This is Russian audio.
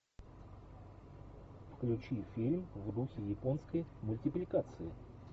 включи фильм в духе японской мультипликации